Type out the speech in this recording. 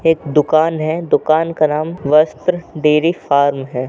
एक दुकान है दुकान का नाम वस्त्र डेयरी फार्म है।